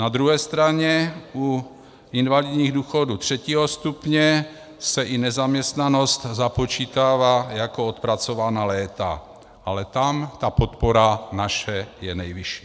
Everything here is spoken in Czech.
Na druhé straně u invalidních důchodů 3. stupně se i nezaměstnanost započítává jako odpracovaná léta, ale tam ta podpora naše je nejvyšší.